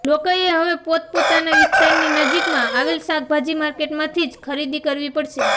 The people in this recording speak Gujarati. લોકોએ હવે પોત પોતાના વિસ્તારની નજીકમાં આવેલ શાકભાજી માર્કેટમાંથી જ ખરીદી કરવી પડશે